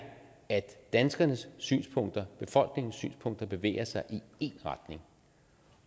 at danskernes synspunkter befolkningens synspunkter bevæger sig i én retning